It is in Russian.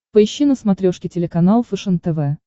поищи на смотрешке телеканал фэшен тв